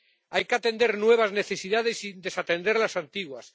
Hay que atender nuevas necesidades sin desatender las antiguas.